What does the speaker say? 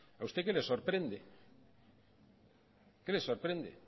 a usted qué le sorprende qué le sorprende